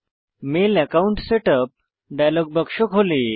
mail account setup dialog বাক্স খোলে